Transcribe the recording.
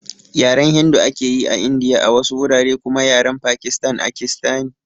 Yaren Hindu ake yi a Indiya a wasu wurare kuma Yaren Pakistan akistani